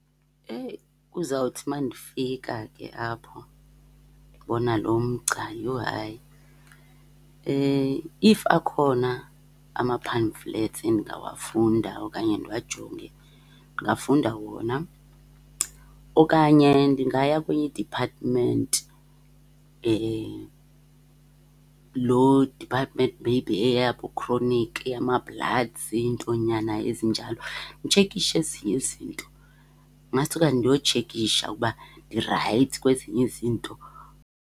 Eyi kuzawuthi uma ndifika ke apho ndibona lomgca, yho hayi. If akhona ama-pamphlets endingawafunda okanye ndiwajonge, ndingafunda wona. Okanye ndingaya kwenye i-department, loo department maybe eyaboo-chronic, eyama-bloods, iintonyana ezinjalo, nditshekishe ezinye izinto, Masithi okanye ndiyotshekisha ukuba ndirayithi kwezinye izinto.